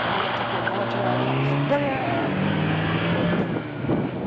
Quando eu bati o portão, o rottweiler já au au au au... No portão.